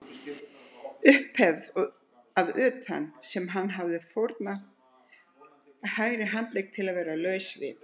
Upphefð að utan sem hann hefði fórnað hægri handlegg til að vera laus við.